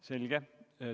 Selge.